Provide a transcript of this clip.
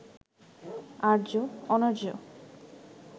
আর্য-অনার্য